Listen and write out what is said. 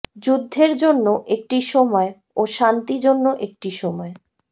যুদ্ধের জন্য একটি সময় ও শান্তি জন্য একটি সময়